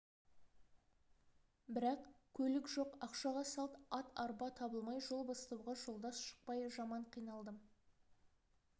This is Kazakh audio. бірақ көлік жоқ ақшаға салт ат арба табылмай жол бастауға жолдас шықпай жаман қиналдым